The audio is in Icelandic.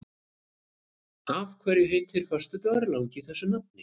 Af hverju heitir föstudagurinn langi þessu nafni?